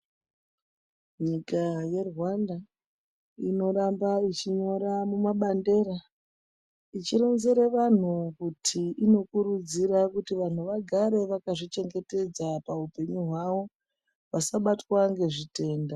Nyika yeRwanda inofambaa ichinyora mumabandera ichironzere vanhu kuti inokurudzira kuti vanhu vagare vakazvichengetedza pahupengu hwawo vasabatwa nezvitenda.